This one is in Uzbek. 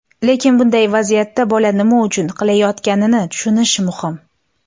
Lekin bunday vaziyatda bola nima uchun qilayotganini tushunish muhim.